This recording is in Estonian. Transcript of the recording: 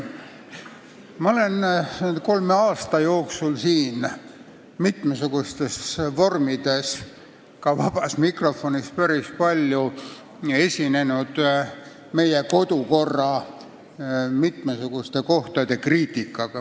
Ma olen kolme aasta jooksul päris palju esinenud siin mitmesugustes vormides, ka vabas mikrofonis, meie kodukorra mitme koha kriitikaga.